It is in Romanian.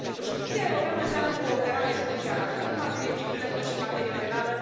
Justiția europeană înseamnă cooperare judiciară atât în materie civilă, cât și în materie penală.